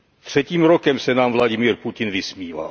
Třetím rokem se nám Vladimír Putin vysmívá.